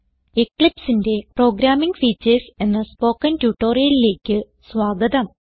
Eclipseന്റെ programming features എന്ന spoken ട്യൂട്ടോറിയലിലേക്ക് സ്വാഗതം